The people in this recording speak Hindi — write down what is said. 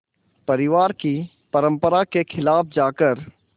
परिवार की परंपरा के ख़िलाफ़ जाकर